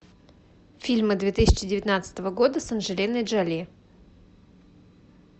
фильмы две тысячи девятнадцатого года с анджелиной джоли